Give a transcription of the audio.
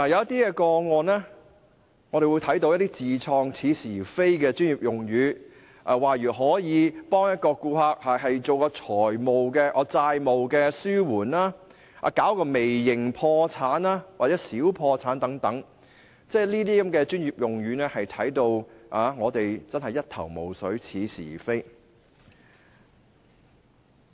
在一些個案中，我們看到有些似是而非的自創專業用語，例如可以為顧客提供"債務紓緩"、"微型破產"或"小破產"等服務，這些似是而非的專業用語真的令到我們一頭霧水。